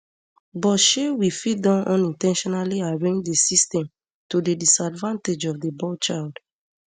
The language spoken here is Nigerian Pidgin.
but shey we fit don unin ten tionally arrange di system to di disadvantage of di boy child